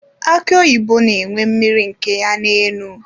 Aki oyibo na enwe mmiri nke ya na enu.